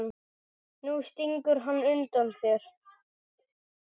Nú stingur hann undan þér!